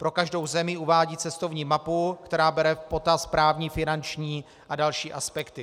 Pro každou zemi uvádí cestovní mapu, která bere v potaz právní, finanční a další aspekty.